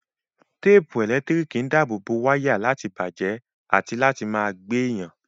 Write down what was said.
Téèpù ẹ̀lẹ́tíríkì ń dáàbò wáyà láti bàjẹ́ àti láti má gbé yàn